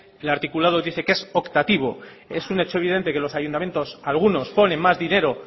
el articulado dice que es optativo es un hecho evidente que los ayuntamientos algunos ponen más dinero